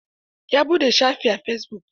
Ya buɗe shafi a fesibuk.